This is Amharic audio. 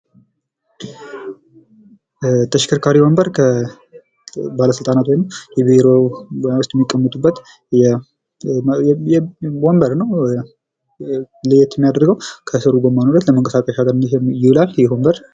ተሽከርካሪ ባለስልጣን ወይም በቢሮ ውስጥ የሚቀመጡበት ወንበር ነው ከሌሎች ለየት የሚያደርገው ተቀምጠው ለመንቀሳቀሰ ይሆናል ይሄ ወንበር።